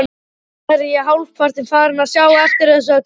Nú er ég hálfpartinn farinn að sjá eftir þessu öllu.